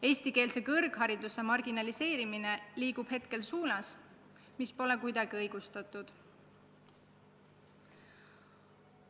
Eestikeelse kõrghariduse marginaliseerimine liigub suunas, mis pole kuidagi õigustatud.